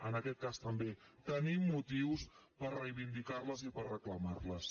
en aquest cas també tenim motius per reivindicar les i per reclamar les